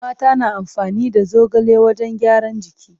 Mata na amfani da zogale wajen gyaran jiki.